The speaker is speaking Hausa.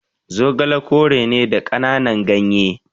Zogale kore ne da kananan gyanye